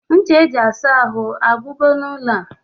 Ncha eji asa ahụ agwugo n'ụlọ?